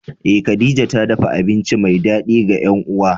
Eh khadija ta dafa abinci mai dadi ga yan uwa.